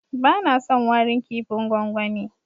Bana son warin kipin gwangwani.